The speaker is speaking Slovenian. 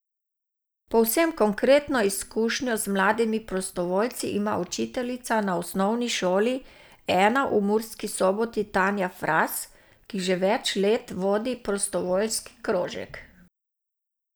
Povsem konkretno izkušnjo z mladimi prostovoljci ima učiteljica na Osnovni šoli I v Murski Soboti Tanja Fras, ki že več let vodi prostovoljski krožek.